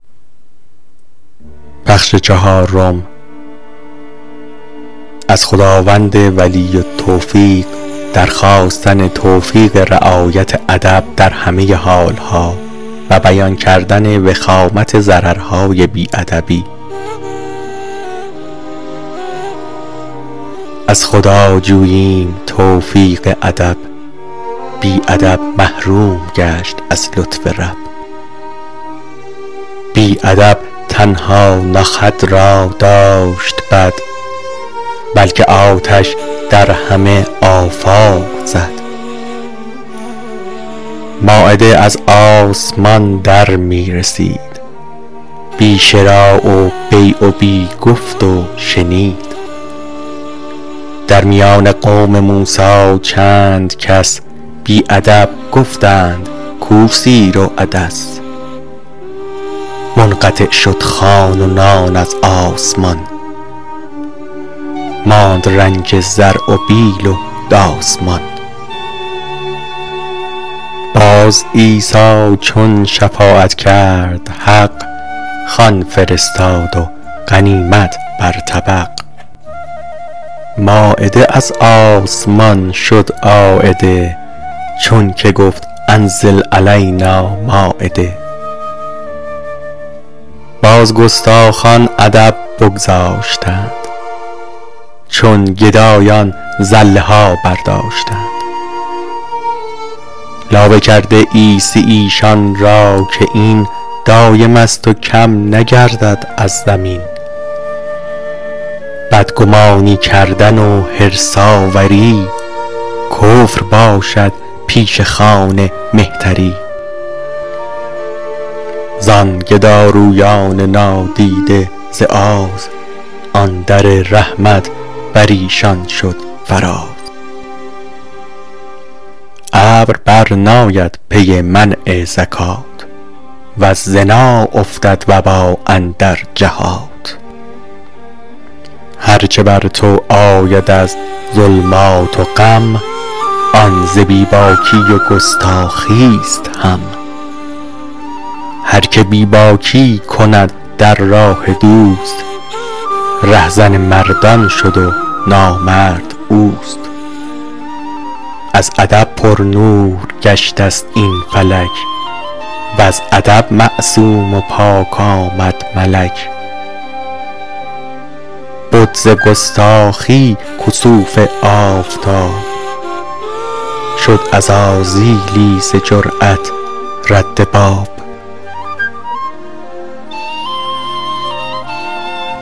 از خدا جوییم توفیق ادب بی ادب محروم گشت از لطف رب بی ادب تنها نه خود را داشت بد بلکه آتش در همه آفاق زد مایده از آسمان در می رسید بی شری و بیع و بی گفت و شنید در میان قوم موسی چند کس بی ادب گفتند کو سیر و عدس منقطع شد خوان و نان از آسمان ماند رنج زرع و بیل و داس مان باز عیسی چون شفاعت کرد حق خوان فرستاد و غنیمت بر طبق مایده از آسمان شد عایده چون که گفت انزل علینا مایده باز گستاخان ادب بگذاشتند چون گدایان زله ها برداشتند لابه کرده عیسی ایشان را که این دایمست و کم نگردد از زمین بدگمانی کردن و حرص آوری کفر باشد پیش خوان مهتری زان گدارویان نادیده ز آز آن در رحمت بریشان شد فراز ابر بر ناید پی منع زکات وز زنا افتد وبا اندر جهات هر چه بر تو آید از ظلمات و غم آن ز بی باکی و گستاخیست هم هر که بی باکی کند در راه دوست ره زن مردان شد و نامرد اوست از ادب پرنور گشته ست این فلک وز ادب معصوم و پاک آمد ملک بد ز گستاخی کسوف آفتاب شد عزازیلی ز جرات رد باب